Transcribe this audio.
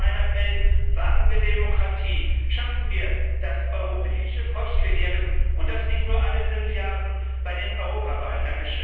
Deshalb mein Appell Wagen wir Demokratie, schaffen wir das Europäische Volksbegehren, und das nicht nur alle fünf Jahre bei den Europawahlen.